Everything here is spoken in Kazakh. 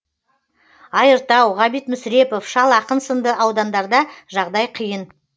айыртау ғабит мүсірепов шал ақын сынды аудандарда жағдай қиын